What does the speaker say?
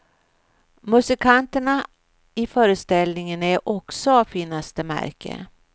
Musikanterna i föreställningen är också av finaste märke.